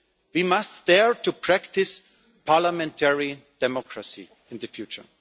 we must dare to practise parliamentary democracy in the future.